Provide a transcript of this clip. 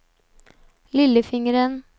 lillefingeren